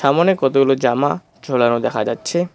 সামোনে কতগুলো জামা ঝোলানো দেখা যাচ্ছে।